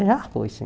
Eu já fui sim